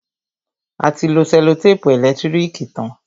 A ti lo sẹ́lòtèpù ẹ̀lẹ́tírìkì tán.